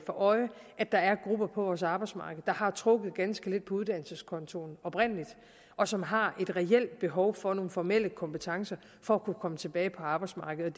for øje at der er grupper på vores arbejdsmarked der oprindelig har trukket ganske lidt på uddannelseskontoen og som har et reelt behov for at få nogle formelle kompetencer for at kunne komme tilbage på arbejdsmarkedet